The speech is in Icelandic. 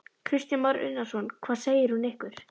Kristján Már Unnarsson: Hvað segir hún ykkur?